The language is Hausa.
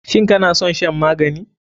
Shin kanason shan magani?